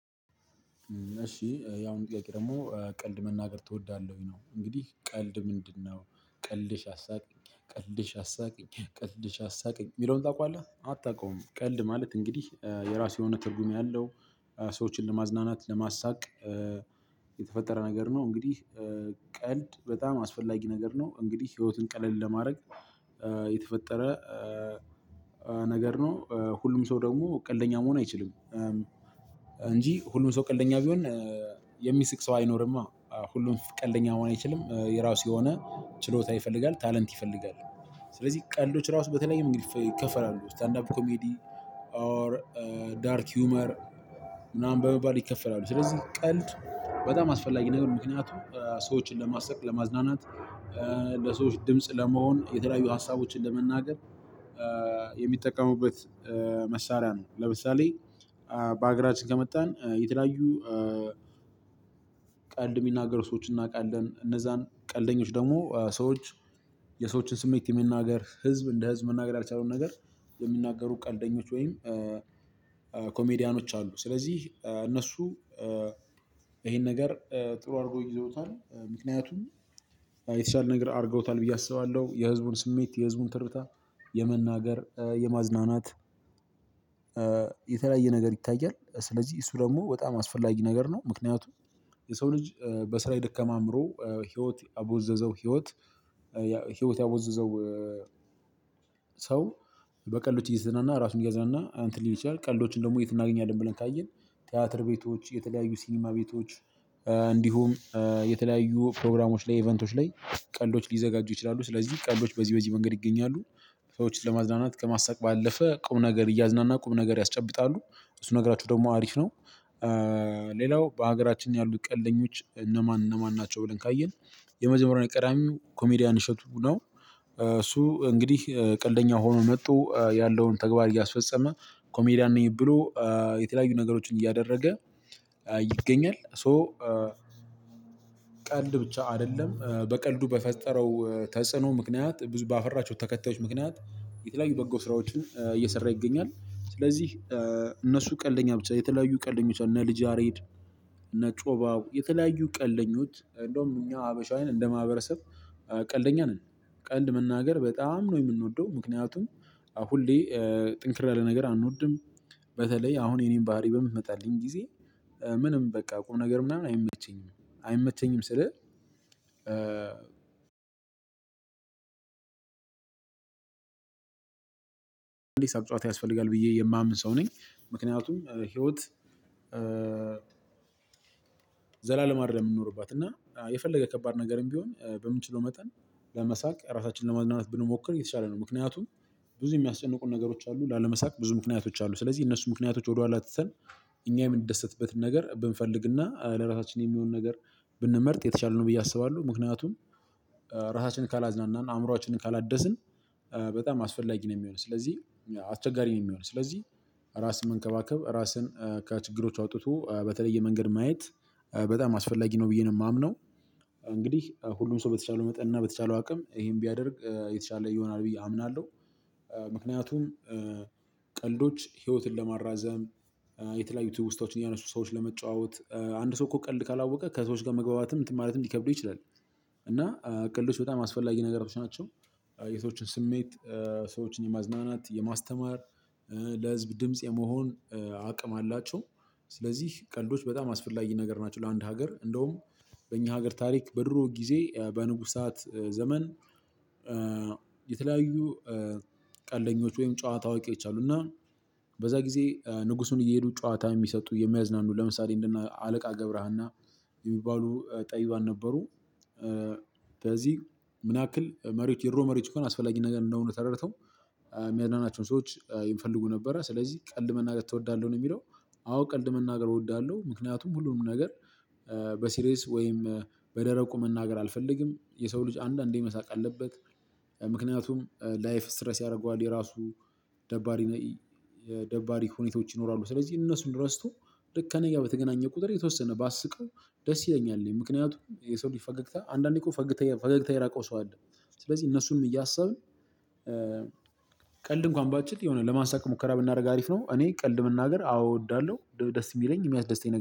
እሺ ያሁኑ ጥያቄ ደግሞ ቀልድ መናገር ትወዳለህ ወይ ነው እንግዲህ ቀልድ ምንድነው ቀልድሽ አሳቅኝ ቀልድሽ አሳቅኝ ቀልድሽ አሳቅኝ የሚለውን ታውቃለህ አታውቀውም ቀልድ ማለት እንግዲህ የራሱ የሆነ ትርጉም ያለው ሰዎችን ለማዝናናት ለማሳቅ የተፈጠረ ነገር ነው እንግዲህ ቀልድ በጣም አስፈላጊ ነገር ነው። እንግዲህ ህይወትን ቀለል ለማድረግ የተፈጠረ ነገር ነው ሁሉም ሰው ደግሞ ቀልደኛ መሆን አይችልም። እንጂ ሁሉም ሰው ቀልደኛ ቢሆን የሚስቅ ሰው አይኖርም ሁሉም ቀልደኛ መሆን አይችልም የራሱ የሆነ ችሎታ ይፈልጋል። ታለንት ይፈልጋል። ስለዚህ ቀልዶች ራሱ በተለያየ መንገድ ይከፋፈላሉ ስታንዳፕ ኮሜዲ ፥ኦር ዳርክ ሂውመር ምናምን በመባል ይከፈላሉ ስለዚህ ቀልድ በጣም አስፈላጊ ነገር ምክንያቱም ሰዎችን ለማስተካከል ለማዝናናት ለሰዎች ድምጽ ለመሆን የተለያዩ ሀሳቦችን ለመናገር የሚጠቀሙበት መሳሪያ ነው። ለምሳሌ በሀገራችን ከመጣን የተለያዩ ቀልድ የሚናገሩ ሰዎችን እናውቃለን እነዛን ቀልደኞች ደግሞ ሰዎች የሰዎችን ስሜት የሚናገር ህዝብ እንደ ህዝብ መናገር ያልቻለውን ነገር የሚናገሩ ቀልደኞች ወይም ኮሜዲያኖች አሉ ስለዚህ እነሱ ይሄን ነገር ጥሩ አድርጎ ይዘውታል ምክንያቱም የተሻለ ነገር አድርገውታል ብዬ አስባለሁ። የህዝቡን ስሜት የህዝቡን ትርታ የመናገር የማዝናናት የተለያየ ነገር ይታያል ስለዚህ እሱ ደግሞ በጣም አስፈላጊ ነገር ነው ምክንያቱም የሰው ልጅ በስራ የደከመ አይምሮ ህይወት ያቦዘዘው ህይወት ህይወት ያቦዘዘው ሰው በቀልዶች እየተዝናና ራሱን እየገዛና እንትን ሊል ይችላል ቀልዶችን ደግሞ የት እናገኛለን ብለን ካየን ቲያትር ቤቶች የተለያዩ ሲኒማ ቤቶች እንዲሁም የተለያዩ ፕሮግራሞች ላይ ኢቨንቶች ላይ ቀልዶች ሊዘጋጁ ይችላሉ። ስለዚህ ቀልዶች በዚህ በዚህ መንገድ ይገኛሉ። ሰዎችን ለማዝናናት ከማሳቅ ባለፈ ቁም ነገር እያዝናና ቁም ነገር ያስጨብጣሉ። እሱ ነገራችሁ ደግሞ አሪፍ ነው። ሌላው በሀገራችን ያሉት ቀልደኞች እነማን እነማን ናቸው ብለን ካየን የመጀመሪያው ቀዳሚው ኮሜዲያን እሸቱ ነው። እሱ እንግዲህ ቀልደኛ ሆኖ መጦ ያለውን ተግባር እያስፈጸመ ኮሜዲያን ነኝ ብሎ የተለያዩ ነገሮችን እያደረገ ይገኛል ሶ ቀልድ ብቻ አይደለም በቀልዱ በፈጠረው ተጽዕኖ ምክንያት ብዙ ባፈራቸው ተከታዮች ምክንያት የተለያዩ በጎ ስራዎችን እየሰራ ይገኛል። ስለዚህ እነሱ ቀልደኛ ብቻ የተለያዩ ቀልደኞች እና ልጅ አሬድ እና ጮባው የተለያዩ ቀልደኞች እንደውም እኛ ሀበሻውያን እንደማህበረሰብ ቀልደኛ ነን ቀልድ መናገር በጣም ነው የምንወደው ምክንያቱም ሁሌ ጥንክር ያለ ነገር አንወድም በተለይ አሁን የኔን ባህሪ በምትመጣልኝ ጊዜ ምንም በቃ ቁም ነገር ምናምን አይመቸኝም አይመቸኝም ስልህ ቢያንስ አንድ ጭዋታ ያስፈልጋል ብዬ የማምን ሰው ነኝ ምክንያቱም ህይወት ዘላለም አይደለም የምንኖርባት እና የፈለገ ከባድ ነገርም ቢሆን በምንችለው መጠን ለመሳቅ ራሳችንን ለመዝናናት ብንሞክር የተሻለ ነው። ምክንያቱም ብዙ የሚያስጨንቁን ነገሮች አሉ ላለመሳቅ ብዙ ምክንያቶች አሉ ጅ። ስለዚህ እነሱ ምክንያቶች ወደኋላ ትተን እኛ የምንደሰትበትን ነገር ብንፈልግና ለራሳችን የሚሆን ነገር ብንመርጥ የተቻለ ነው ብዬ አስባለሁ ምክንያቱም ራሳችን ካላዝናናናን አእምሮአችንን ካላደስን በጣም አስፈላጊ ነው የሚሆነው ስለዚህ አስቸጋሪ ነው የሚሆነው ስለዚህ ራስን መንከባከብ ራስን ከችግሮች አውጥቶ በተለየ መንገድ ማየት በጣም አስፈላጊ ነው ብዬ ነው የማምነው እንግዲህ ሁሉም ሰው በተቻለው መጠን እና በተቻለው አቅም ይሄን ቢያደርግ የተሻለ እየሆነ ይሆናል ብዬ አምናለሁ ምክንያቱም ቀልዶች ህይወትን ለማራዘም የተለያዩ ትውስታዎችን እያነሱ ሰዎችን ለመጨዋወት አንድ ሰው እኮ ቀልድ ካላወቀ ከሰዎች ጋር መግባባትም እንትን ማለትም ሊከብደው ይችላል እና ቀልዶች በጣም አስፈላጊ ነገሮች ናቸው። የሰዎችን ስሜት ሰዎችን የማዝናናት የማስተማር ለህዝብ ድምጽ የመሆን አቅም አላቸው። ስለዚህ ቀልዶች በጣም አስፈላጊ ነገር ናቸው ለአንድ ሀገር እንደውም በእኛ ሀገር ታሪክ በድሮ ጊዜ በንጉስ በንጉሳት ዘመን የተለያዩ ቀልደኞች ወይም ጨዋታ አዋቂዎችእና በዛ ጊዜ ንጉሱን እየሄዱ ጨዋታ የሚሰጡ የሚያዝናኑ ለምሳሌ እንደና አለቃ ገብረሃና የሚባሉ ጠቢባን ነበሩ። በዚህ ምን ያክል መሪዎች የድሮ መሪዎች በጣምትትት አስፈላጊ ነገር እንደሆኑ ተረድተው የሚያድናናቸውን ሰዎች ይፈልጉ ነበረ ስለዚህ ቀልድ መናገር ትወዳለህ ነው የሚለው አዎ ቀልድ መናገር እወዳለሁ ምክንያቱም ሁሉንም ነገር በሲሪየስ ወይም በደረቁ መናገር አልፈልግም የሰው ልጅ አንዳንዴ መሳቅ አለበት ምክንያቱም ላይፍ ስትረስ ያደርገዋል የራሱ ደባሪ ደባሪ ሁኔታዎች ይኖራሉ። ስለዚህ እነሱን ረስቶ ደካነያ በተገናኘ ቁጥር የተወሰነ ባስቀው ደስ ይለኛል። ምክንያቱም የሰው ለፈገግታ አንዳንዴ እኮ ፈገግታ የራቀው ሰው አለ ስለዚህ እነሱንም እያሰብን ቀልድ እንኳን ባንችል የሆነ ለማሳቅ ሙከራ ብናደርግ አሪፍ ነው እኔ ቀልድ መናገር አዎ እወዳለሁ ደስ የሚለኝ የሚያስደስተኝ ነገር